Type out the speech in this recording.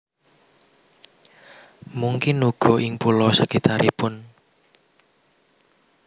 Mungkin uga ing pulo sakitaripun